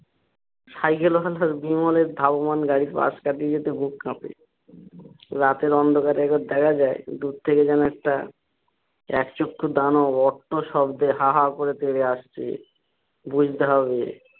সাইকেলের বিমলের ধাববান গাড়ির পাশ কাটিয়ে যেতে বুক কাপে। রাতের অন্ধকারে একবার দেখা যাই দূর থেকে যেন একটা এক চক্ষু দানব অট্ট শব্দে হা হা করে তেড়ে আসছে বুঝতে হবে।